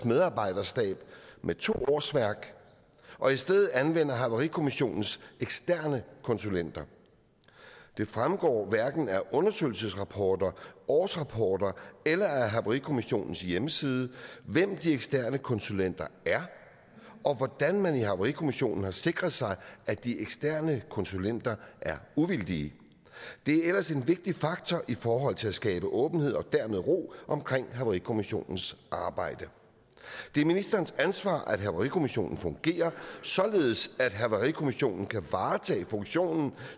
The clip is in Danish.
medarbejderstab med to årsværk og i stedet anvender havarikommissionen eksterne konsulenter det fremgår hverken af undersøgelsesrapporter årsrapporter eller af havarikommissionens hjemmeside hvem de eksterne konsulenter er og hvordan man i havarikommissionen har sikret sig at de eksterne konsulenter er uvildige det er ellers en vigtig faktor i forhold til at skabe åbenhed og dermed ro omkring havarikommissionens arbejde det er ministerens ansvar at havarikommissionen fungerer således at havarikommissionen kan varetage funktionen